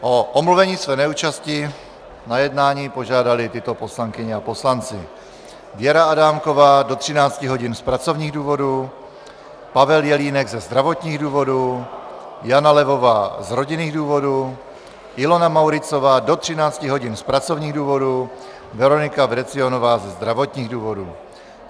O omluvení své neúčasti na jednání požádali tyto poslankyně a poslanci: Věra Adámková do 13 hodin z pracovních důvodů, Pavel Jelínek ze zdravotních důvodů, Jana Levová z rodinných důvodů, Ilona Mauritzová do 13 hodin z pracovních důvodů, Veronika Vrecionová ze zdravotních důvodů.